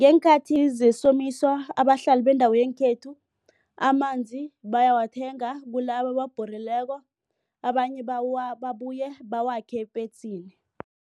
Ngeenkhathi zesomiso abahlali bendawo yangekhethu amanzi bayawathenga kulabo ababhorileko abanye babuye bawakhe epetsini.